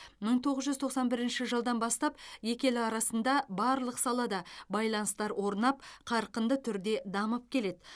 мың тоғыз жүз тоқсан бірінші жылдан бастап екі ел арасында барлық салада байланыстар орнап қарқынды түрде дамып келеді